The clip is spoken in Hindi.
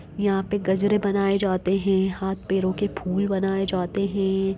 यहाँ पे गजरे बनाए जाते हैं हाथ पैरों के फूल बनाए जाते हैं।